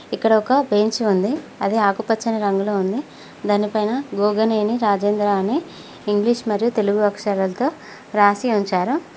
ఇక్కడ ఒక బెంచ్ ఉంది అది ఆకుపచ్చని రంగులో ఉంది దానిపైన గోగనేని రాజేంద్ర అనే ఇంగ్లీష్ మరియు తెలుగు అక్షరాలతో రాసి ఉంచారు.